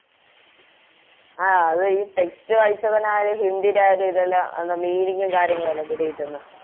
ആ അതെ ഈ Text വായിച്ചാ തന്നെ ഹിന്ദിടെ ആ ഒരു ഇതെല്ലം Meaning ഉം കാര്യങ്ങളു അല്ലെ പിടികിട്ടുന്നെ